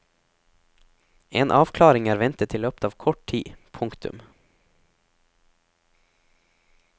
En avklaring er ventet i løpet av kort tid. punktum